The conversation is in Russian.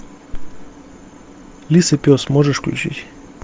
лис и пес можешь включить